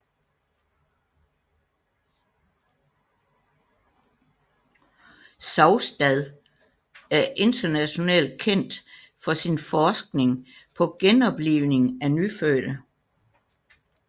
Saugstad er internationalt kendt for sin forskning på genoplivning af nyfødte